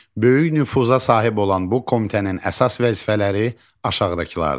Böyük nüfuza sahib olan bu komitənin əsas vəzifələri aşağıdakılardır.